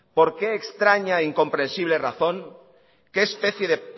por qué extraña e incomprensible razón qué especie